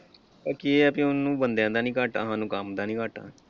ਆ ਕੀ ਹੈ ਕਿ ਉਹਨੂੰ ਬੰਦਿਆਂ ਦਾ ਨਹੀਂ ਘਾਟਾ ਸਾਨੂੰ ਕੰਮ ਦਾ ਨਹੀਂ ਘਾਟਾ ।